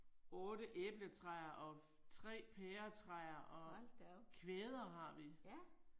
8 æbletræer og 3 pæretræer og kvæder har vi